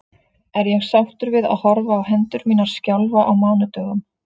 Er ég sáttur við að horfa á hendur mínar skjálfa á mánudögum?